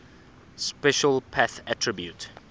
special path attribute